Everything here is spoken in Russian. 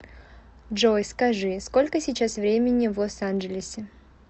джой скажи сколько сейчас времени в лос анджелесе